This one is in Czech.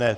Ne.